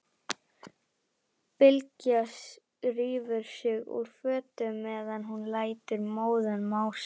Bylgja rífur sig úr fötunum meðan hún lætur móðan mása.